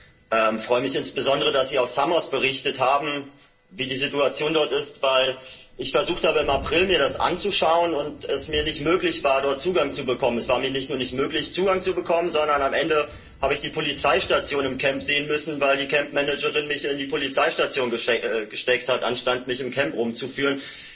Ich freue mich insbesondere, dass Sie aus Samos berichtet haben, darüber, wie die Situation dort ist, weil ich im April versucht habe, mir das anzuschauen, und es mir nicht möglich war, dort Zugang zu bekommen. Es war mir nicht nur nicht möglich, Zugang zu bekommen, sondern am Ende habe ich die Polizeistation im Camp sehen müssen, weil die Campmanagerin mich in die Polizeistation gesteckt hat statt mich im Camp herumzuführen.